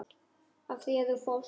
Af því þú fórst.